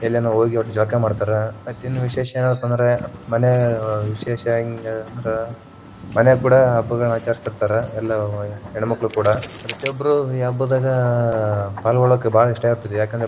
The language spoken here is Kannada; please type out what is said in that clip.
ಎಲ್ಲನೇ ಹೋಗಿ ವಟ್ಟ ಜಳಕಾ ಮಾಡತಾರ ಅವತ್ತಿನ ವಿಶೇಷಯೆನಪಾ ಅಂದ್ರ ಮನ್ಯಾಗ ವಿಶೇಷ ಹೆಂಗಂದ್ರ ಮನ್ಯಾಗ ಕೂಡಾ ಹಬ್ಬಗಳನ್ನ ಆಚರಸ್ಥಿರತಾರ ಎಲ್ಲ ಹೆಣ್ಣ ಮಕ್ಕಳು ಕೂಡಾ ಪ್ರತಿಯೊಬ್ಬರೂ ಈ ಹಬ್ಬದಾಗ ಪಾಲಾಗೋಳ್ಳಕ್ಕೆ ಬಾಳ ಇಷ್ಟ ಇರತೇತರಿ.